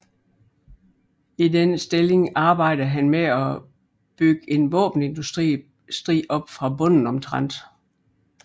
I denne stilling arbejdede han med at bygge en våbenindustri op fra bunden omtrent